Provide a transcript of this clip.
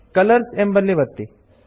colours ಎಂಬಲ್ಲಿ ಒತ್ತಿ